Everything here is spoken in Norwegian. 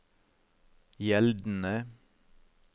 gjeldende